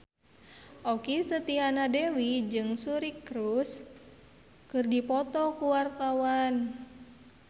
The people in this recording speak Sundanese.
Okky Setiana Dewi jeung Suri Cruise keur dipoto ku wartawan